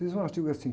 Fiz um artigo assim.